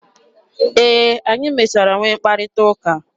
E, anyị mechara nwee mkparịta ụka.